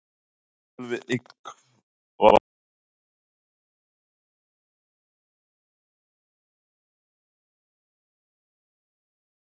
Hefur Gylfi eitthvað heyrt í honum og beðið um ráð til að vinna Argentínu?